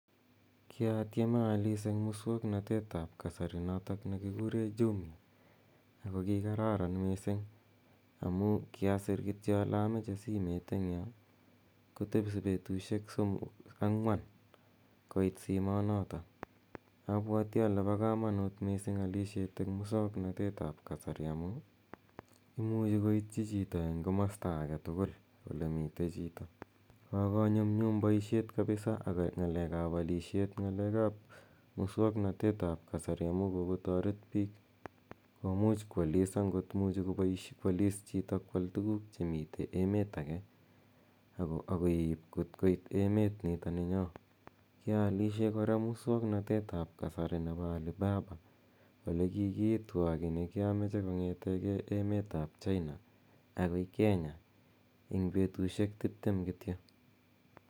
Kiatieme aalis en muswoknotet ap kasari notok ne kikure Jumia. Ako kikararan missing' amu kiasir kityo ale amache simet en yo kotepi petushek somok, ang'wan koit simonotok. Apwati ale pa kamanut missing' alishet en muswoknotet ap kasari amu imichi ko koitchi chito en komasta age tugul ole mitei chito. Kokonyumnyum poishonik missing' ak ng'alek ap alishet ng'alek ap muswoknotet ap kasari amu kokotaret piik komuch koalis angot imuchi koalis chito ko al tuguuk ce mitei emet age ak keip kot koit emanitani nyo. Kiaalishe kora muswoknotet ap kasari nepo Alibaba. Ole kikiitwa kiit ne kia mache kong'ete emet ap China akoi Kenya eng' petushek tiptem kityo.